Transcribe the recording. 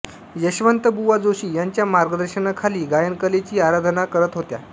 यशवंतबुवा जोशी यांच्या मार्गदर्शनाखाली गायनकलेची आराधना करत होत्या